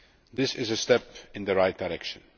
This is a step in the right direction.